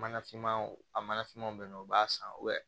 Mana finmanw a mana finmanw bɛ yen nɔ u b'a san